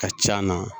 Ka c'a na